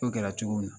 O kɛra cogo min na